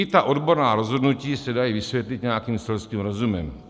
I ta odborná rozhodnutí se dají vysvětlit nějakým selským rozumem.